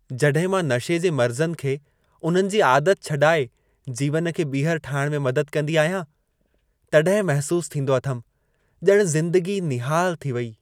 जॾहिं मां नशे जे मरिज़नि खे उन्हनि जी आदत छॾाए जीवन खे ॿीहर ठाहिण में मदद कंदी आहियां, तॾहिं महिसूसु थींदो अथमि, ॼणु ज़िंदगी निहालु थी वेई।